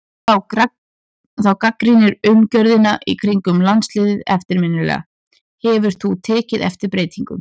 Þú gagnrýndir umgjörðina í kringum landsliðið eftirminnilega, hefur þú tekið eftir breytingum?